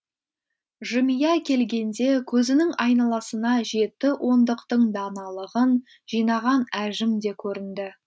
жымия келгенде көзінің айналасына жеті ондықтың даналығын жинаған әжім де көрінді